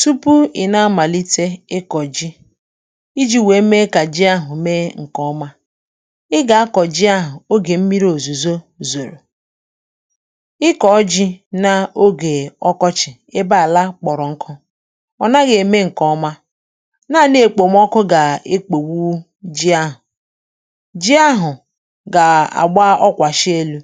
Tupu ị̀ na-amàlite ịkọ̀ ji, iji̇ wèe mee kà ji ahụ̀ mee ǹkè ọma ị gà-akọ̀ ji ahụ̀ ogè m̀miri òzùzo zòrò ịkọ̀ ji̇ n’ogè ọkọchị̀ ebe àlà kpọ̀rọ̀ nkụ, ọ̀ naghị̇ ème ǹkè ọma naanị èkpòmọkụ gà-èkpòwu ji ahụ̀. Ji ahụ̀ gà-àgba ọkwàshị elu̇,